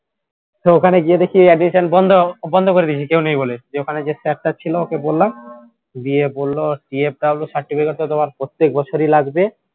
ওখানে গিয়ে দেখি admission বন্ধ বন্ধ করে দিয়েছে কেউ নেই বলে যে ওখানে ওখানে যে sir টা ছিল ওকে বললাম দিয়ে বলল PFWcertificate তোমার প্রত্যেক বছরই লাগবে